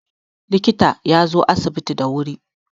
likita ya zo asibiti da wuri